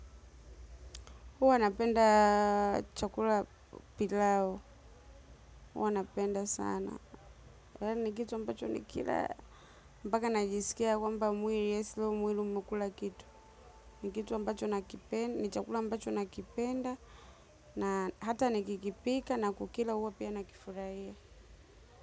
Huwa napenda chakula pilau. Huwa napenda sana. Ni kitu ambacho nikila. Mbaka najisikia kwamba mwili yes leo mwili umekula kitu. Ni kitu ambacho nakipenda. Ni chakula ambacho nakipenda. Na hata nikikipika na kukila huwa pia nakifurahia.